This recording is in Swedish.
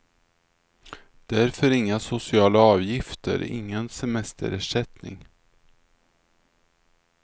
Därför inga sociala avgifter, ingen semesterersättning.